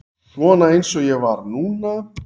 Svona eins og ég var núna.